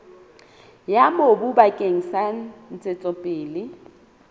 ya mobu bakeng sa ntshetsopele